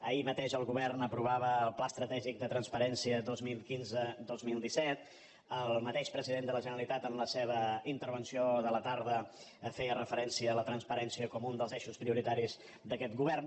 ahir mateix el govern aprovava el pla estratègic de transparència dos mil quinzedos mil disset el mateix president de la generalitat en la seva intervenció de la tarda feia referència a la transparència com un dels eixos prioritaris d’aquest govern